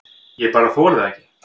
Ég bara þoli það ekki.